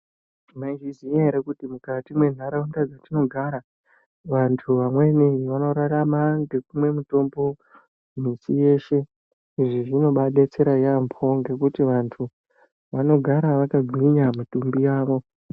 Mai zviziya ere kuti mukati mwe nharaunda dzatino gara vantu vamweni vano rarama nge kumwe mutombo miti yeshe izvi zvino bai detsera yambo ngekuti vantu vano gara vaka gwinya mitumbi yavo.